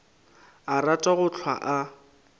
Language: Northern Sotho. a rata go hlwa a